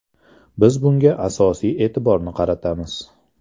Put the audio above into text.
Biz bunga asosiy e’tiborni qaratamiz.